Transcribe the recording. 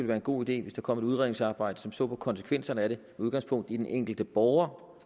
være en god idé hvis der kom et udredningsarbejde som så på konsekvenserne af det udgangspunkt i den enkelte borger